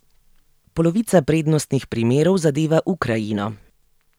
Polovica prednostnih primerov zadeva Ukrajino.